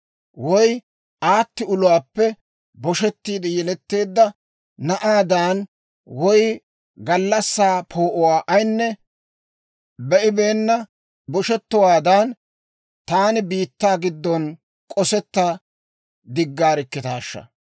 Woy aatti uluwaappe boshettiide yeletteedda na'aadan, woy gallassaa poo'uwaa ayinne be'ibeenna boshettowaadan, taani biittaa giddon k'osetta diggaarkkitaashsha!